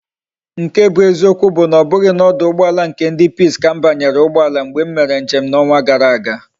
Nke bu eziokwu bu na obughi na oduugboala nke ndi peace ka m banyere ugboala mgbe m mere njem na onwa gara aga